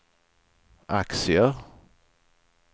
aktier